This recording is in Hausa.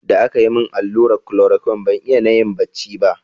Da aka yi min allurar klorokwin, ban iya nayi bacci ba.